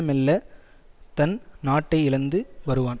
மெல்லத் தன் நாட்டை இழந்து வருவான்